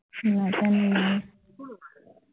নাজানো মই